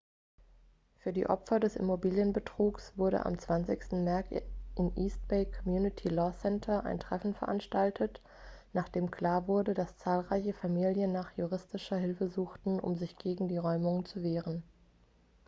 für die opfer des immobilienbetrugs wurde am 20. märz im east bay community law center ein treffen veranstaltet nachdem klar wurde dass zahlreiche familien nach juristischer hilfe suchten um sich gegen die räumungen zu wehren